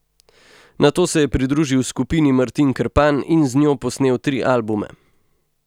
Nato se je pridružil skupini Martin Krpan in z njo posnel tri albume.